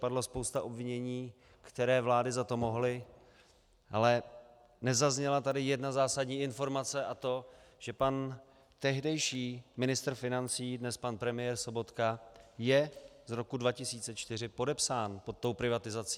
Padla spousta obvinění, které vlády za to mohly, ale nezazněla tady jedna zásadní informace, a to, že pan tehdejší ministr financí, dnes pan premiér Sobotka, je z roku 2004 podepsán pod tou privatizací.